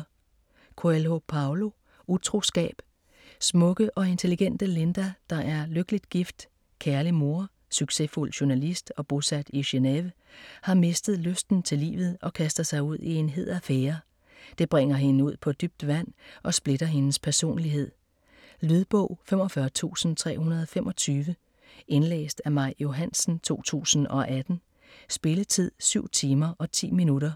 Coelho, Paulo: Utroskab Smukke og intelligente Linda, der er lykkelig gift, kærlig mor, succesfuld journalist og bosat i Genéve, har mistet lysten til livet og kaster sig ud i en hed affære. Det bringer hende ud på dybt vand og splitter hendes personlighed. Lydbog 45325 Indlæst af Maj Johansen, 2018. Spilletid: 7 timer, 10 minutter.